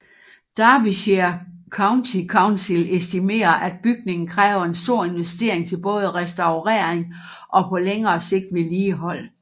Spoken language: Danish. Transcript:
Derbyshire County Council estimerer at bygningen kræver en stor investering til både restaurering og på længere sigt vedligehold